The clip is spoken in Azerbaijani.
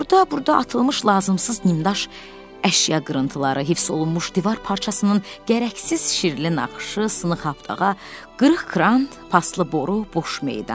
Orda-burda atılmış lazımsız nimdaş əşya qırıntıları, hifz olunmuş divar parçasının gərəksiz şirli naxışı, sınx abdağa, qırıq krant, paslı boru, boş meydan.